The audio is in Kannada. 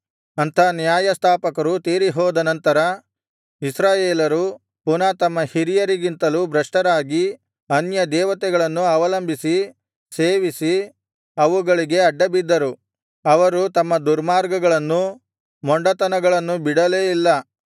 ಅಂಥ ನ್ಯಾಯಸ್ಥಾಪಕರು ತೀರಿಹೋದನಂತರ ಇಸ್ರಾಯೇಲರು ಪುನಃ ತಮ್ಮ ಹಿರಿಯರಿಗಿಂತಲೂ ಭ್ರಷ್ಟರಾಗಿ ಅನ್ಯದೇವತೆಗಳನ್ನು ಅವಲಂಬಿಸಿ ಸೇವಿಸಿ ಅವುಗಳಿಗೆ ಅಡ್ಡಬಿದ್ದರು ಅವರು ತಮ್ಮ ದುರ್ಮಾರ್ಗಗಳನ್ನು ಮೊಂಡತನಗಳನ್ನು ಬಿಡಲೇ ಇಲ್ಲ